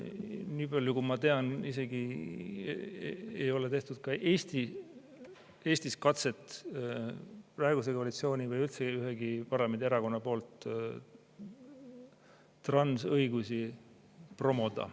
Niipalju kui ma tean, Eestis ei ole praegune koalitsioon ega üldse ükski parlamendierakond teinud isegi katset transõigusi promoda.